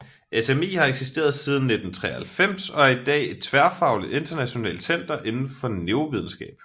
SMI har eksisteret siden 1993 og er i dag et tværfagligt internationalt center inden for Neurovidenskab